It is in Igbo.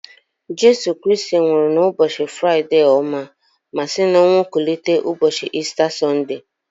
Jesu Kristi nwụrụ na ụbọchi Fraịde ọma ma si n'ọnwụ kulite ụbọchị Ista Sọnde